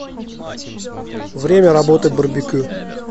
время работы барбекю